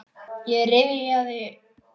Ég rifja upp sögur.